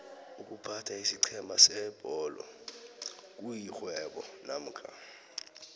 iykuphatha isiqhema sebholo kuyixhwebo nakho